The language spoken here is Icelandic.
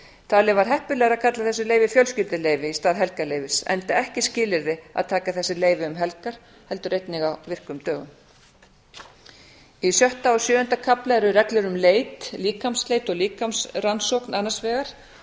talið var heppilegra að kalla þessi leyfi fjölskylduleyfi í stað helgarleyfis enda ekki skilyrði að taka þessi leyfi um helgar heldur einnig á virkum dögum í sjötta og sjöunda kafla eru reglur um leit líkamsleit og líkamsrannsókn annars vegar